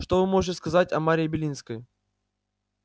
что вы можете сказать о марии белинской